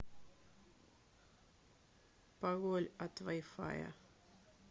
пароль от вай фая